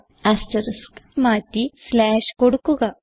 asterisk മാറ്റി slash കൊടുക്കുക